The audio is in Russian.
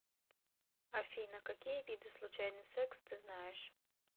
афина какие виды случайный секс ты знаешь